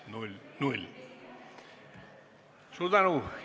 Suur tänu!